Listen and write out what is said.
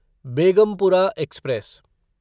Begumpura express